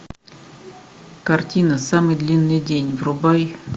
картина самый длинный день врубай